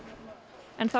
en það